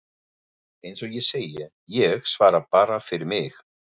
Eins og ég segi: Ég svara bara fyrir mig.